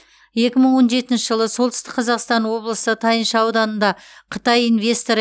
екі мың он жетінші жылы солтүстік қазақстан облысы тайынша ауданында қытай инвесторы